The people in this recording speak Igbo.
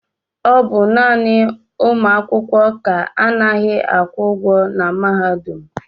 ọ bụ naanị ụmụ akwụkwọ ka anaghị akwụ ụgwọ na mahadum